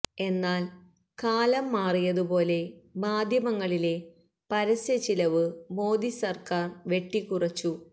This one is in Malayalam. എന്നാല് കാലം മാറിയതു പോലെ മാധ്യമങ്ങളിലെ പരസ്യ ചിലവ് മോദി സര്ക്കാര് വെട്ടി കുറച്ചു